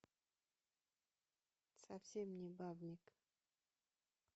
совсем не бабник